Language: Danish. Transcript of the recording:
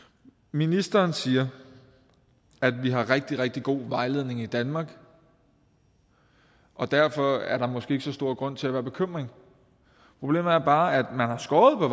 ministeren siger at vi har rigtig rigtig god vejledning i danmark og derfor er der måske ikke så stor grund til at være bekymret problemet er bare at man har skåret på